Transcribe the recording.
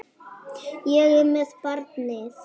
Ég er með barni.